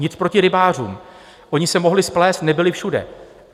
Nic proti rybářům, oni se mohli splést, nebyli všude.